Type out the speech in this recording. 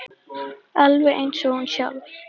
Alveg eins og hún sjálf.